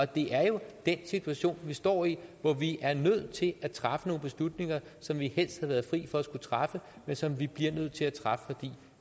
det er jo den situation vi står i hvor vi er nødt til at træffe nogle beslutninger som vi helst havde været fri for at skulle træffe men som vi bliver nødt til at træffe fordi